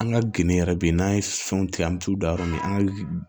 An ka gende yɛrɛ be yen n'an ye fɛnw tigɛ an mi t'u da yɔrɔ min an ka